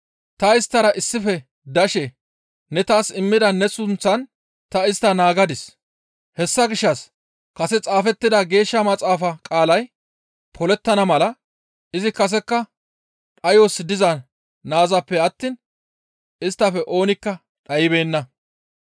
Ta isttara issife dashe ne taas immida ne sunththaan ta istta naagadis; hessa gishshas kase xaafettida Geeshsha Maxaafaa qaalay polettana mala izi kasekka dhayos diza naazappe attiin isttafe oonikka dhaybeenna.